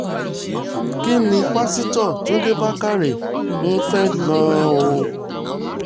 kín ní pásítọ̀ túnde bàkàrẹ́ ń fẹ́ gan-an o